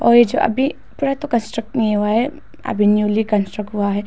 और ये जो अभी पूरा तो कंस्ट्रक्ट नहीं हुआ है अभी न्यूली कंस्ट्रक्ट हुआ है।